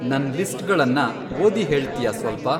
ನನ್‌ ಲಿಸ್ಟ್‌ಗಳನ್ನ ಓದಿ ಹೇಳ್ತ್ಯಾ ಸ್ವಲ್ಪ